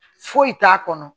Foyi t'a kɔnɔ